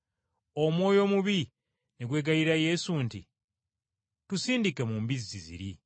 Omwoyo omubi ne gwegayirira Yesu nti, “Tusindike mu mbizzi ziri.”